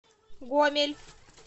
гомель